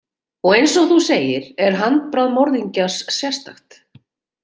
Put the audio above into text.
Og eins og þú segir er handbragð morðingjans sérstakt.